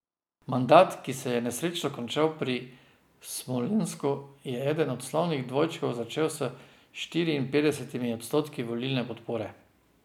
Mandat, ki se je nesrečno končal pri Smolensku, je eden od slavnih dvojčkov začel s štiriinpetdesetimi odstotki volilne podpore.